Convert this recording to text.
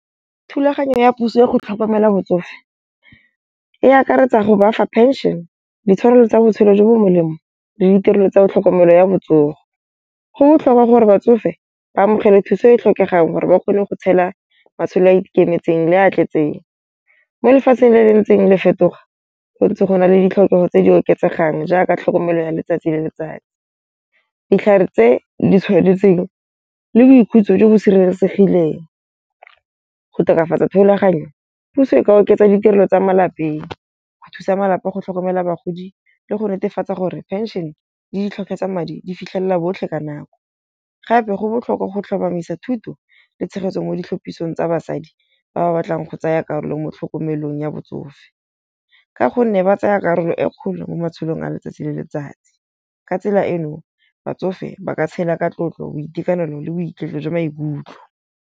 Thulaganyo ya puso ya go tlhokomela batsofe e akaretsa go bafa pension, ditshwanelo tsa botshelo jo bo molemo le ditirelo tsa tlhokomelo ya botsogo. Go botlhokwa gore batsofe ba amogele thuso e e tlhokegang gore ba kgone go tshela matshelo a ikemetseng le a tletseng. Mo lefatsheng le le ntseng le fetoga gontsi go na le ditlhokego tse di oketsegang jaaka tlhokomelo ya letsatsi le letsatsi. Ditlhare tse di tshwanetseng le boikhutso jo bo sireletsegileng. Go tokafatsa thulaganyo puso e ka oketsa ditirelo tsa malapeng. Go thusa malapa a go tlhokomela bagodi le go netefatsa gore pension le ditlhokego tsa madi di fitlhelela botlhe ka nako. Gape go botlhokwa go tlhomamisa thuto le tshegetso mo ditlhopisong tsa basadi ba ba batlang go tsaya karolo mo tlhokomelong ya botsofe. Ka gonne ba tsaya karolo e kgolo mo matshelong a letsatsi le letsatsi. Ka tsela eno batsofe ba ka tshela ka tlotlo, boitekanelo le boiketlo jwa maikutlo.